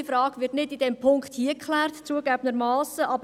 Diese Frage wird in diesem Punkt, zugegeben, nicht geklärt.